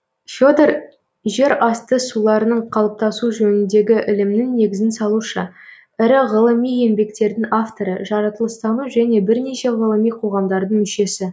федор жер асты суларының қалыптасуы жөніндегі ілімнің негізін салушы ірі ғылыми еңбектердің авторы жаратылыстану және бірнеше ғылыми қоғамдардың мүшесі